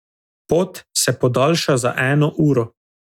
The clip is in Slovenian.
Pot se podaljša za eno uro.